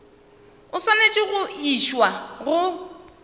o swanetše go išwa go